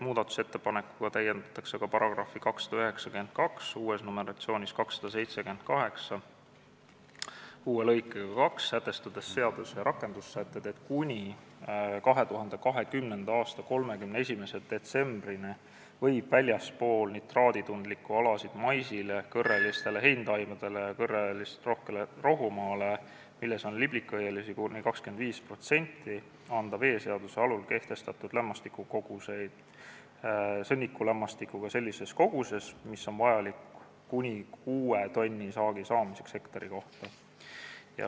Muudatusettepanekuga täiendatakse ka § 292 uue lõikega 2, sätestades seaduse rakendussätetes, et kuni 2020. aasta 31. detsembrini võib väljaspool nitraaditundlikke alasid maisile, kõrrelistele heintaimedele ja kõrrelisterohkele rohumaale, milles on liblikõielisi kuni 25%, anda veeseaduse alusel kehtestatud lämmastikukoguseid sõnnikulämmastikuga sellises koguses, mis on vajalik kuni 6 tonni saagi saamiseks hektari kohta.